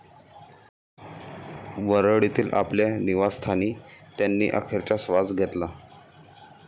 वरळीतील आपल्या निवासस्थानी त्यांनी अखेरचा श्वास घेतला.